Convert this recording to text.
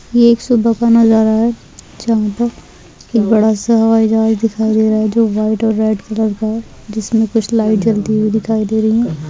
ये एक सुबह का नजारा हैं बड़ा सा हवाई जहाज दिखाई दे रहा है जो व्हाइट और रेड कलर का है जिसमें कुछ लाइट जलती हुई दिखाई दे रही है।